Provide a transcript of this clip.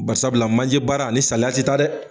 Bari sabula manje baara ani saliya te ta dɛ.